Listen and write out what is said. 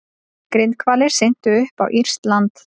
Grindhvalir syntu upp á írskt land